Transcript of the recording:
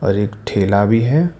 और एक ठेला भी है।